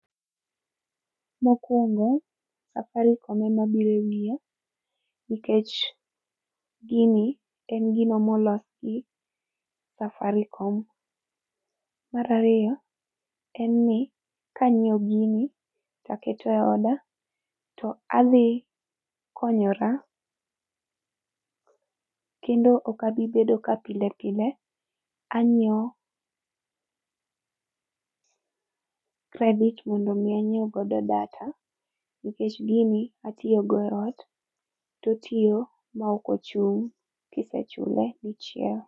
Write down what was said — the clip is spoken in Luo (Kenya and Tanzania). Mokwongo safarikom ema biro yie nikech, gini en gino molos gi safarikom. Mar ariyo en ni kanyiewo gini takete oda to adhi konyora kendo ok abi bedo ka pile pile. Anyiewo credit mondo mi anyiew godo data nikech gini atiyo go eot totiyo ma ok ochul kisechule dichiel.